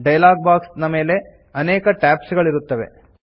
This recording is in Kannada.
ಡೈಲಾಗ್ ಬಾಕ್ಸ್ ನ ಮೇಲೆ ಅನೇಕ ಟ್ಯಾಬ್ಸ್ ಗಳಿರುತ್ತದೆ